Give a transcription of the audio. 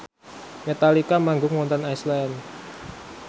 Metallica manggung wonten Iceland